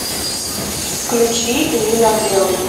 включи линар белый